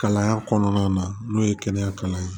Kalan kɔnɔna na n'o ye kɛnɛya kalan ye